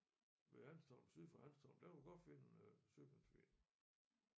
Ved Hanstholm syd for Hanstholm der kan du godt finde øh søpindsvin